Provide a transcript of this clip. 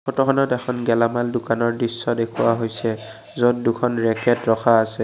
চিত্ৰখনত এখন গেলামাল দোকানৰ দৃশ্য দেখুওৱা হৈছে য'ত দুখন ৰেকেট ৰখা আছে।